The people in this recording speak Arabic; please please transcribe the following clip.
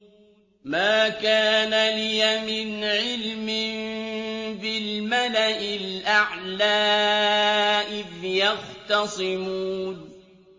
مَا كَانَ لِيَ مِنْ عِلْمٍ بِالْمَلَإِ الْأَعْلَىٰ إِذْ يَخْتَصِمُونَ